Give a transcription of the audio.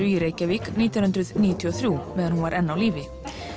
í Reykjavík nítján hundruð níutíu og þrjú meðan hún var enn á lífi